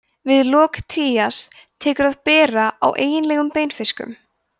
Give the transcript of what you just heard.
við lok trías tekur að bera á eiginlegum beinfiskum